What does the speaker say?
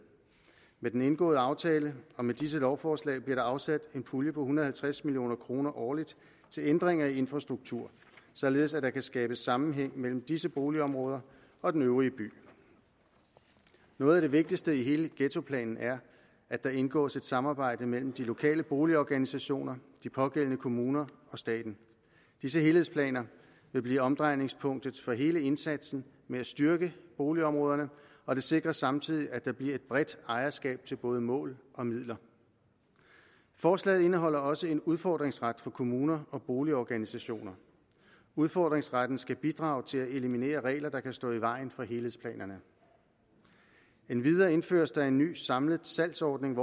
med den indgåede aftale og med disse lovforslag bliver der afsat en pulje på en hundrede og halvtreds million kroner årligt til ændring af infrastruktur således at der kan skabes sammenhæng mellem disse boligområder og den øvrige by noget af det vigtigste i hele ghettoplanen er at der indgås et samarbejde mellem de lokale boligorganisationer de pågældende kommuner og staten disse helhedsplaner vil blive omdrejningspunktet for hele indsatsen med at styrke boligområderne og det sikres samtidig at der bliver et bredt ejerskab til både mål og midler forslaget indeholder også en udfordringsret for kommuner og boligorganisationer udfordringsretten skal bidrage til at eliminere regler der kan stå i vejen for helhedsplanerne endvidere indføres der en ny samlet salgsordning